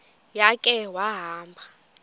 ya khe wahamba